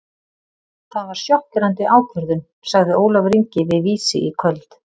Það var sjokkerandi ákvörðun, sagði Ólafur Ingi við Vísi í kvöld.